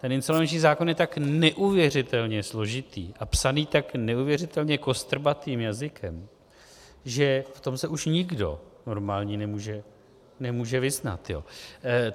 Ten insolvenční zákon je tak neuvěřitelně složitý a psaný tak neuvěřitelně kostrbatým jazykem, že se v tom už nikdo normální nemůže vyznat.